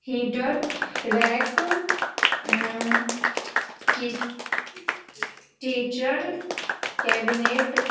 heater rack अम की teacher cabinet --